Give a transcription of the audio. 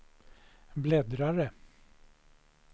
bläddrare